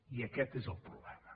i aquest és el problema